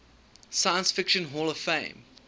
science fiction hall of fame